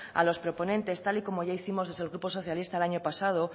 a los proponentes tal y como ya hicimos desde el grupo socialista el año pasado